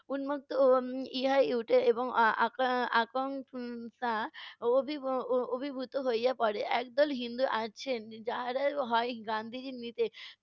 উম্মুক্ত, ও ইহাই উঠে আ~ আকং~ উম অভিভূত হইয়া পড়ে। একদল হিন্দু আছেন এর যাহারা হয় গান্ধিজীর নীতে